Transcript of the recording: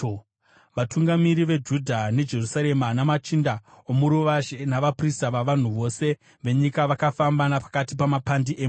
Vatungamiri veJudha neJerusarema, namachinda omuruvazhe, navaprista navanhu vose venyika vakafamba napakati pamapandi emhuru,